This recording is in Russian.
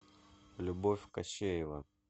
любовь кощеева